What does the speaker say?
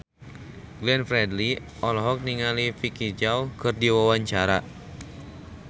Glenn Fredly olohok ningali Vicki Zao keur diwawancara